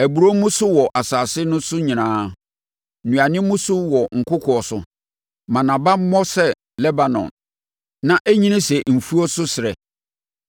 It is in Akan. Aburoo mmu so wɔ asase no so nyinaa; nnuane mmu so wɔ nkokoɔ so, ma nʼaba mmɔ sɛ Lebanon; na ɛnyini sɛ mfuo so serɛ.